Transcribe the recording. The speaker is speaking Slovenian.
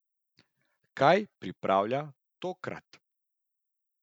Kaj pripravlja tokrat?